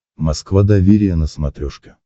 москва доверие на смотрешке